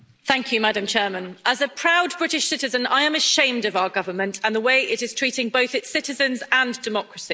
Madam President, as a proud British citizen, I am ashamed of our government and the way it is treating both its citizens and democracy.